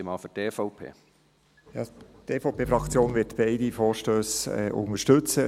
Die EVP-Fraktion wird beide Vorstösse unterstützen.